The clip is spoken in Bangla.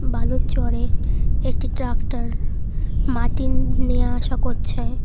বালুর চরে একটি ট্রাক্টর মাটি নেওয়া আসা করছে।